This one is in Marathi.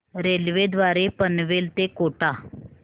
रेल्वे द्वारे पनवेल ते कोटा